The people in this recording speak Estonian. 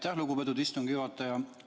Aitäh, lugupeetud istungi juhataja!